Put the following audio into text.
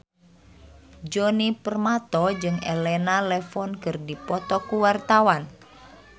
Djoni Permato jeung Elena Levon keur dipoto ku wartawan